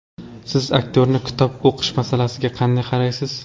Siz aktyorning kitob o‘qish masalasiga qanday qaraysiz?